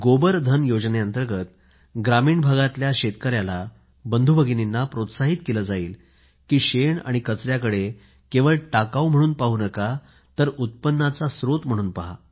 गोबर धन योजने अंतर्गत ग्रामीण भारतातल्या शेतकऱ्याला बंधूभगिनींना प्रोत्साहित केलं जाईल की शेण आणि कचऱ्याकडे केवळ टाकाऊ म्हणून पाहू नका तर उत्पन्नाचा स्त्रोत म्हणून पहा